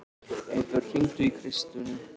Eybjört, hringdu í Kristrúnu.